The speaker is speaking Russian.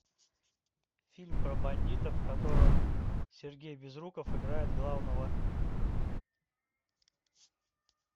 фильм про бандитов в котором сергей безруков играет главного